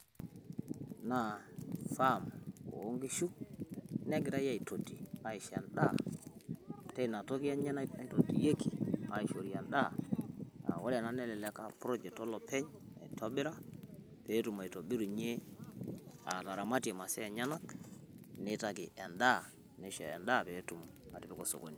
naa farm onkishu negirai aitoti aisho endaa teina toki enye naitotiyieki aisho endaa aa wore enaa nelelek aa project olopeny naitobira petumoki ataramatie masa enyenak nitaki endaa petumoki atipika osokoni